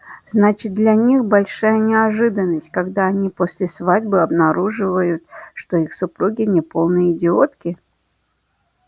значит для них большая неожиданность когда они после свадьбы обнаруживают что их супруги не полные идиотки